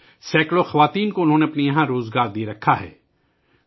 انہوں نے یہاں سینکڑوں خواتین کو روزگار دیا ہے